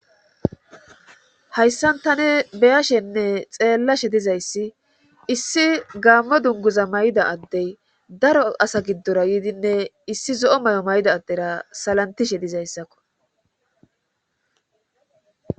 Hayssan tane beyashenne xeellashe dizayssi issi gaammo dunguza may'da addey daro asa giddora yiidinne issi zo'o may'o may'da addera salantishe dizayssakko.